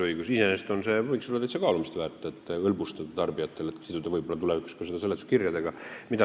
Iseenesest võiks olla kaalumist väärt siduda see tulevikus ka seletuskirjadega, et hõlbustada tarbijate elu.